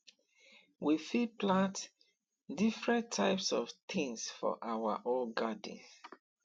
we fit plant different types of things for our own garden